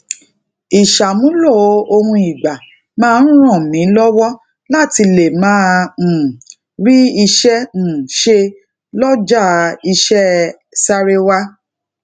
isamulo ohun igba maa ń ràn mí lówó láti lè máa um ri ise um se loja ise sarewa